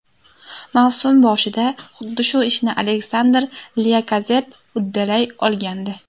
Mavsum boshida xuddi shu ishni Aleksandr Lyakazett uddalay olgandi.